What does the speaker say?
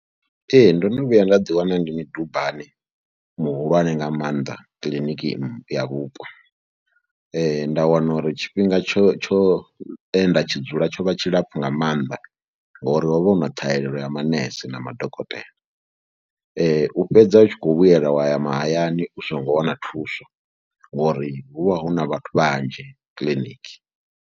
Ee ndo no vhuya nda ḓiwana ndi midubani muhulwane nga maanḓa kiḽiniki ya vhupo, nda wana uri tshifhinga tsho tsho e nda tshi dzula tsho vha tshilapfhu nga maanḓa ngori ho vha hu na ṱhahelelo ya manese na madokotela. Fhedza u tshi khou vhuyelwa wa ya mahayani u songo wana thuso ngori hu vha hu na vhathu vhanzhi kiḽiniki.